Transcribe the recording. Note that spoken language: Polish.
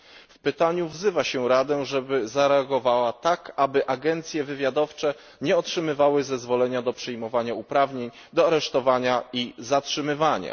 W pytaniu wzywa się Radę, żeby zareagowała tak, aby agencje wywiadowcze nie otrzymywały zezwolenia do przyjmowania uprawnień do aresztowania i zatrzymywania.